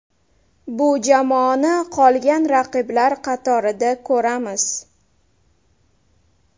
Bu jamoani qolgan raqiblar qatorida ko‘ramiz.